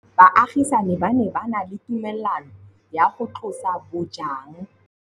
Baagisani ba ne ba na le tumalanô ya go tlosa bojang.